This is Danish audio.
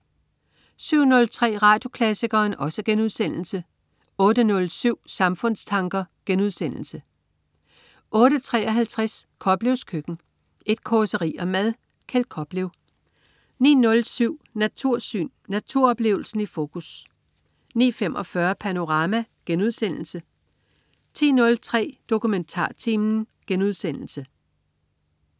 07.03 Radioklassikeren* 08.07 Samfundstanker* 08.53 Koplevs Køkken. Et causeri om mad. Kjeld Koplev 09.07 Natursyn. Naturoplevelsen i fokus 09.45 Panorama* 10.03 DokumentarTimen*